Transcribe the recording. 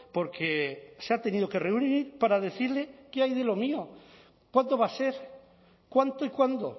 porque se ha tenido que reunir para decirle qué hay de lo mío cuánto va a ser cuánto y cuándo